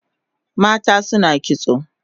Mata suna kitso